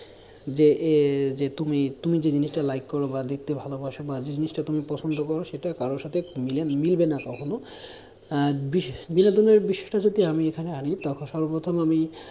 যে এ যে তুমি তুমি যেই জিনিসটা like করো বা দেখতে ভালোবাসো বা জিনিসটা তুমি পছন্দ করো, সেটা কারো সাথে মিলবে না কখনও আহ বিষয়টা বিনোদনের বিষয়টা যদি আমি এখানে আনি তখন সর্বপ্রথমে আমি